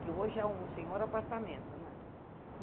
Que hoje é um senhor apartamento, né?